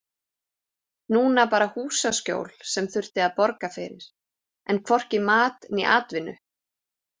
Núna bara húsaskjól sem þurfti að borga fyrir en hvorki mat né atvinnu.